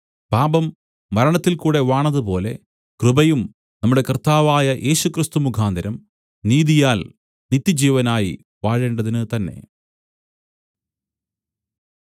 പാപം മരണത്തിൽകൂടെ വാണതുപോലെ കൃപയും നമ്മുടെ കർത്താവായ യേശുക്രിസ്തു മുഖാന്തരം നീതിയാൽ നിത്യജീവനായി വാഴേണ്ടതിന് തന്നേ